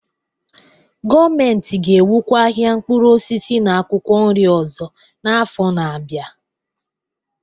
Gọọmentị ga-ewukwa ahịa mkpụrụ osisi na akwụkwọ nri ọzọ n'afọ na-abịa